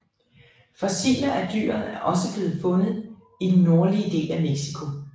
Fossiler af dyret er også blevet fundet i den nordlige del af Mexico